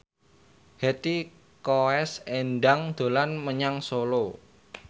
Hetty Koes Endang dolan menyang Solo